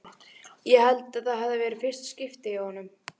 Ég held að það hafi verið í fyrsta skipti hjá honum.